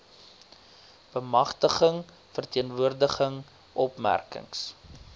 bemagtiging verteenwoordiging opmerkings